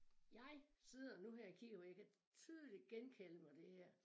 Jeg sidder nu her og kigger på jeg kan tydeligt genkalde mig det her